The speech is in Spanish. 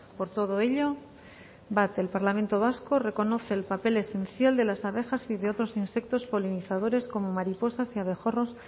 por todo ello uno el parlamento vasco reconoce el papel esencial de las abejas y de otros insectos polinizadores como mariposas y abejorros